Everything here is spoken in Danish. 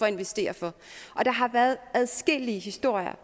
at investere for og der har været adskillige historier